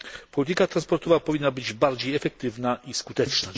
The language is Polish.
Polityka transportowa powinna być bardziej efektywna i skuteczna.